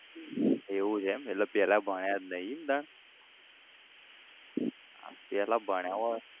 એવું છે એમ એટલે પેલા ભણ્યા જ નઈ ઈમ તાણ આ પેલા ભણ્યા હોત